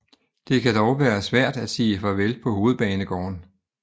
Det kan dog være svært at sige farvel på Hovedbanegården